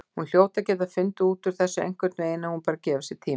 Hún hljóti að geta fundið út úr þessu einhvernveginn ef hún bara gefur sér tíma.